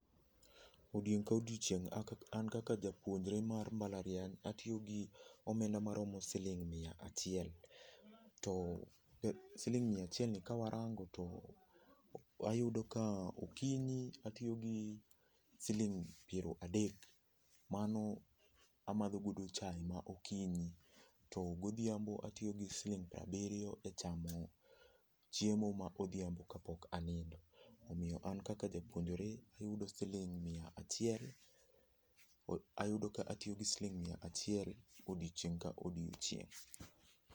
Odiechieng' ka odiechieng' an kaka japuonjre mar mbalariany atiyo gi omenda siling' miya achiel. To siling' miya achiel ni kawa rango to okinyi atiyo gi siling' piero adek. Mano amadho godo chae okinyi to godhiambo atiyo gi siling' piero abiriyo e chamo chiemo ma odhiambo kapok anindo. Omiyo an kaka japuonjre, ayudo ka atiyo gi siling' miya achiel odiechieng' ka odiechieng'.